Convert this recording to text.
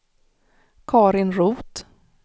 Karin Roth